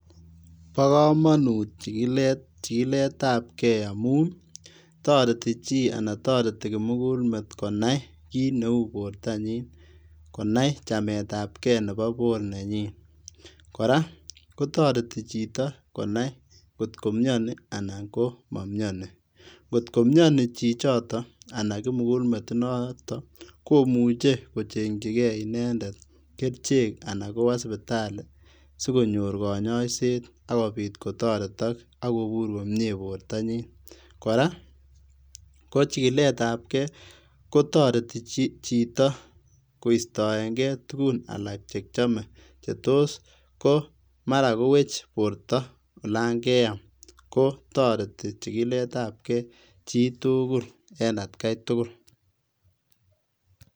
Bo komonut chikiletabkei amun toreti kimugulmet konai kiit neu bortanyin, konai chametabkee nebo bornenyin koraa kotoreti chito konai kotkomioni anan komomioni ngot komioni chichoton anan kimugulmet inoton komuche kochenchikee inendet kerichek anan kowoo sipitali sikonyor konyoiset akobit kotoretok ak kobur komie bortanyin koraa kochikiletabkei kotoreti chito koistoengei tugun alak chekiome chetos komaraa kowech borto olon keam kotoreti chikiletabkei chitugul en atkaitugul.